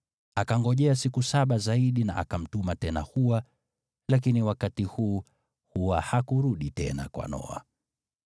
Akangojea siku saba zaidi na akamtuma tena hua, lakini wakati huu hua hakurudi tena kwa Noa.